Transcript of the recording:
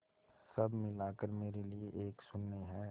सब मिलाकर मेरे लिए एक शून्य है